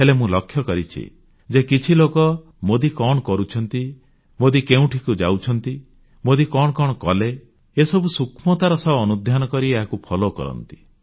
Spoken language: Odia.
ହେଲେ ମୁଁ ଲକ୍ଷ୍ୟ କରିଛି ଯେ କିଛି ଲୋକ ମୋଦୀ କଣ କରୁଛନ୍ତି ମୋଦୀ କେଉଁଠିକୁ ଯାଉଛନ୍ତି ମୋଦୀ କଣ କଣ କଲେ ଏସବୁ ସୂକ୍ଷ୍ମତାର ସହ ଅନୁଧ୍ୟାନ କରି ଏହାକୁ ଅନୁଗମନ ଫୋଲୋ କରନ୍ତି